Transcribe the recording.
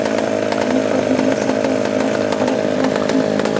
Kaliforniyada esa favqulodda holat e’lon qilingan .